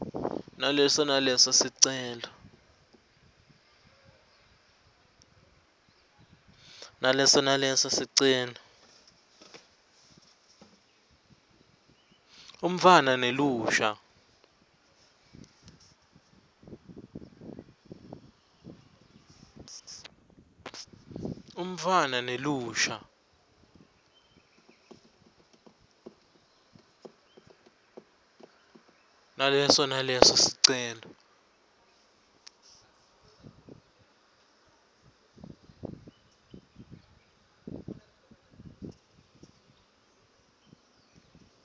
naleso naleso sicelo